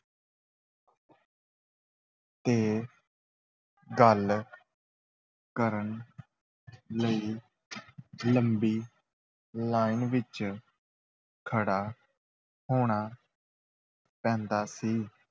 ਤੇ ਗੱਲ ਕਰਨ ਲਈ ਲੰਬੀ line ਵਿਚ ਖੜ੍ਹਾ ਹੋਣਾ ਪੈਂਦਾ ਸੀ।